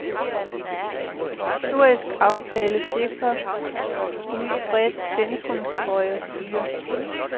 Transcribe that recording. Historisk aftale sikrer nyt bredt centrumhøjre styre.